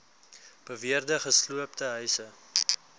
beweerde gesloopte huise